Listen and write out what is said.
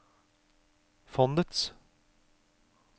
fondets